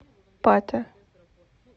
пате